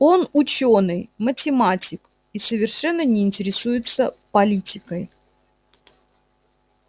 он учёный математик и совершенно не интересуется политикой